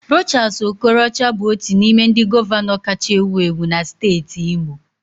Rochas Okorocha bụ otu n'ime ndị gọvanọ kacha ewu ewu na steeti Imo.